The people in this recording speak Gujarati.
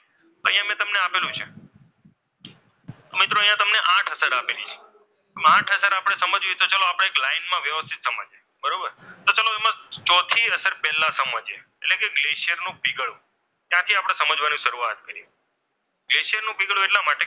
આઠ અસર આપેલી છે એમ આઠ અસર સમજવી છે. તો આપણે એક લાઈનમાં વ્યવસ્થિત સમજીએ બરોબર તો ચાલો એમાં ચોથી અસર પહેલા સમજીએ. એટલે કે ગ્લેસરનું પીગળવું ત્યાંથી આપણે સમજવાની શરૂઆત કરીએ. ગ્લેશરનું પીગળવું એટલા માટે